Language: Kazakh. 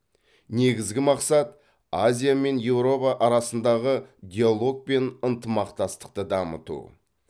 негізгі мақсат азия мен еуропа арасындағы диалог пен ынтымақтастықты дамыту